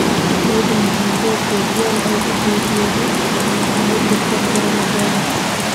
Xoyodhi macalin Pep Gardiola aya uu geryodhe udurka korona fairas.